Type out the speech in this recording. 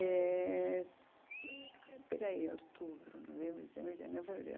Eh espera aí, outubro, novembro, dezembro, janeiro, fevereiro.